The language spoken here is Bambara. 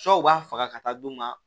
u b'a faga ka taa d'u ma